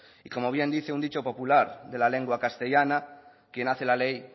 y como bien dice un dicho popular de la lengua castellana quien hace la ley